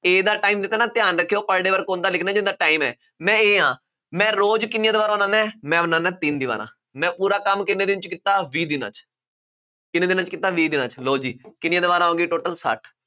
A ਦਾ time ਦਿੱਤਾ ਨਾ, ਧਿਆਨ ਰੱਖਿਉ, per day work ਉਹਦਾ ਨਿਕਲਣਾ ਜਿਹਦਾ time ਹੈ। ਮੈ A ਹਾਂ, ਮੈਂ ਰੋਜ਼ ਕਿੰਨੀਆਂ ਦੀਵਾਰਾਂ ਬਣਾਉਂਦਾ, ਮੈਂ ਬਣਾਉਂਦਾ ਤਿੰਨ ਦੀਵਾਰਾਂ, ਮੈਂ ਪੂਰਾ ਕੰਮ ਕਿੰਨੇ ਦਿਨ ਚ ਕੀਤਾ, ਵੀਹ ਦਿਨਾਂ ਚ, ਕਿੰਨੇ ਦਿਨਾਂ ਚ ਕੀਤਾ, ਵੀਹ ਦਿਨਾਂ ਚ, ਲਉ ਜੀ, ਕਿੰਨੀਆਂ ਦੀਵਾਰਾਂ ਹੋ ਗਈਆਂ total ਸੱਠ,